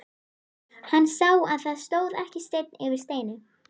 Hann sá að það stóð ekki steinn yfir steini.